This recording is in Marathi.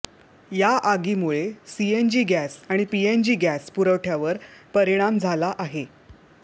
या आगीमुळे सीएनजी गॅस आणि पीएनजी गॅस पुरवठ्यावर परिणाम झाला आहे